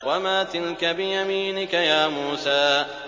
وَمَا تِلْكَ بِيَمِينِكَ يَا مُوسَىٰ